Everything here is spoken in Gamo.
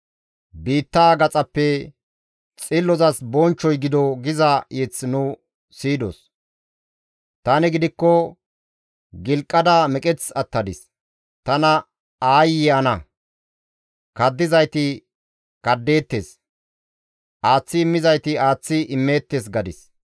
Biittaa gaxaappe, «Xillozas bonchchoy gido» giza mazamure nu siyidos; «Tani gidikko gilqada meqeth attadis; Tana aayye ana! Kaddizayti kaddeettes; aaththi immizayti aaththi immeettes» gadis.